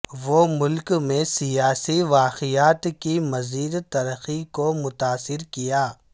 وہ ملک میں سیاسی واقعات کی مزید ترقی کو متاثر کیا